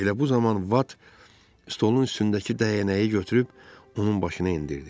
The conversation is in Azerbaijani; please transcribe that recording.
Elə bu zaman Vat stolun üstündəki dəyənəyi götürüb onun başına endirdi.